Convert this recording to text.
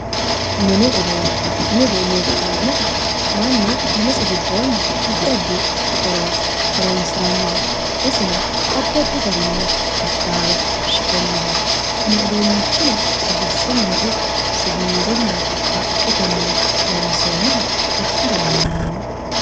Mini uduunne. mini uduunne yineemmo woyiite mannu minisi giddoonni addi addi horora horoonsirannoha isino addi addi garinni qixxaawe shiqqinnohu kuni uduunnichino bshshunnino ikko siwiilunnino haqqetennino loonsoonniha ikkara dandaanno.